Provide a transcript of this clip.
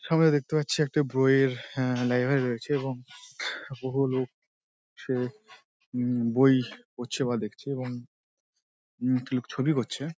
সামনে দেখতে পাচ্ছি একটা বইয়ের হা লাইব্রেরি রয়েছে এবং বহু লোক সে উম বই পড়ছে বা দেখছে এবং উম একটি লোক ছবি করছে।